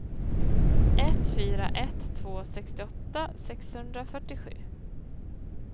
ett fyra ett två sextioåtta sexhundrafyrtiosju